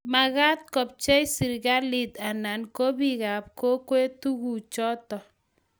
magaat kopcheei serikalit anana ko bikap kokwet tuguk choto